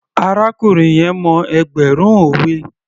Arákùnrin yẹn mọ ẹgbẹ̀rún òwe